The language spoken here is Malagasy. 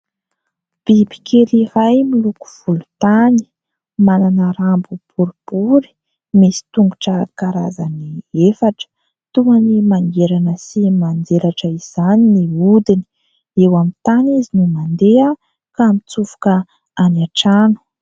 Bibikely iray miloko volontany, manana rambo boribory, misy tongotra karazany efatra, toany mangirana sy manjelatra izany ny odiny, eo amin'ny tany izy no mandeha ka mitsofoka any an-trano.